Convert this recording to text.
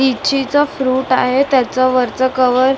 लिची चा फ्रूट आहे त्याचं वरचं कव्हर --